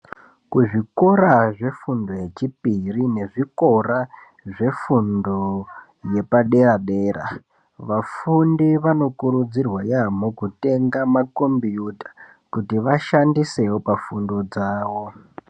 Kuzvikora zvefundo yechipiri nezvikora zvefundo yepadera dera vafundi vanokurudzirwa yampo kutenga makombuyuta kuti vashandisevo pafundo dzavo.